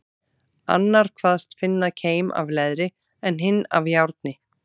Annar kvaðst finna keim af leðri, en hinn af járni.